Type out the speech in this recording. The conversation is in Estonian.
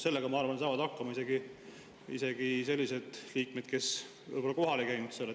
Sellega, ma arvan, saavad hakkama isegi sellised liikmed, kes kohal ei käinud.